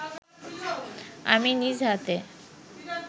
আমি নিজ হাতে